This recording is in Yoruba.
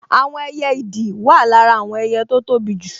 Àwọn ẹyẹ ìdì wà lára àwọn ẹyẹ tó tóbi jù